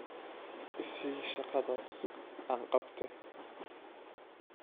I sii shaqadaas aan qabte